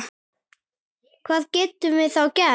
Hvað getum við þá gert?